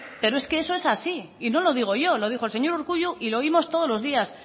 pero es que eso es así y no lo digo yo lo dijo el señor urkullu y lo oímos todos los días